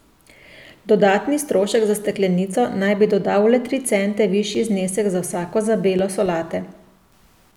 Dodatni strošek za steklenico naj bi dodal le tri cente višji znesek za vsako zabelo solate.